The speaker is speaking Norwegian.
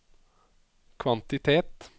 kvantitet